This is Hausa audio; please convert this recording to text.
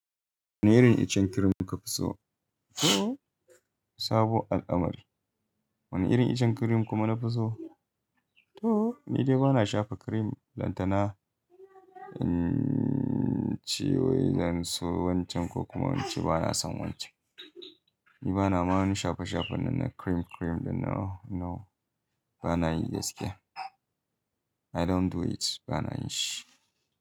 Wane irin icen cream kuka fi so? To sabon al'amari. Wane irin icen cream kuma nafi so? To ni dai bana shafa cream. Lantana, ciwo yanzu wancan ko kuma wancan bana son wancan. Ni bana ma' wani shafe-shafe na cream cream da no, no bana yi gaskiya. I don't do it bana yin shi.